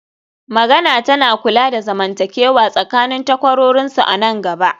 magana tana kula da zamantakewa tsakanin takwarorinsu a nan gaba